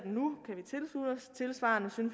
den